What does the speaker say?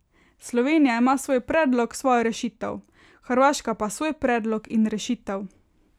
Slovenija ima svoj predlog, svojo rešitev, Hrvaška pa svoj predlog in rešitev.